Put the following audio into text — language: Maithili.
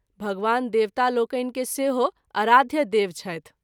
भगवान देवता लोकनि के सेहो अराध्य देव छथि।